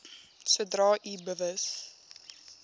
sodra u bewus